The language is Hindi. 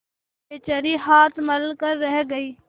बेचारी हाथ मल कर रह गयी